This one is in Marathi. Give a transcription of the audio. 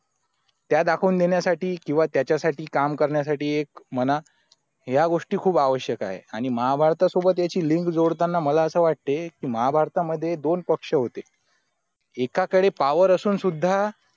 त्या दाखवून देण्यासाठी किंवा त्याच्यासाठी काम करण्यासाठी एक म्हणा या गोष्टी खूप आवश्यक आहे आणि महाभारतात सुद्धा त्याची लिंक जोडताना मला असं वाटतंय महाभारतामध्ये दोन पक्ष होते एकाकडे power असून सुद्धा